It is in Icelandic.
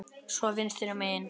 Svo vinstra megin.